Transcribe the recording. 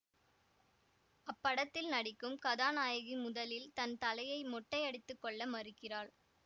அப்படத்தில் நடிக்கும் கதாநாயகி முதலில் தன் தலையை மொட்டையடித்துக் கொள்ள மறுக்கிறாள்